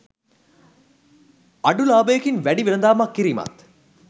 අඩු ලාබයකින් වැඩි වෙළඳාමක් කිරීමත්